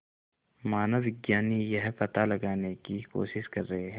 मानवविज्ञानी यह पता लगाने की कोशिश कर रहे हैं